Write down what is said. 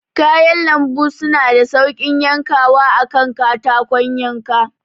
Kayan lambu suna da sauƙin yankawa a kan katakon yanka.